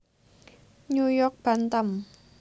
New York Bantam